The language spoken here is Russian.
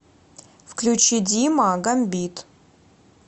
включи дима гамбит